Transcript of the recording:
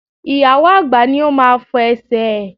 Ìyàwó àgbà ní ó máa fọ Ẹsẹ̀ ẹ̀.